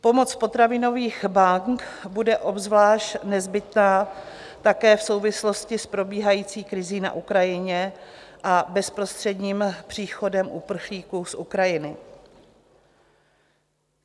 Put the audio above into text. Pomoc potravinových bank bude obzvlášť nezbytná také v souvislosti s probíhající krizí na Ukrajině a bezprostředním příchodem uprchlíků z Ukrajiny.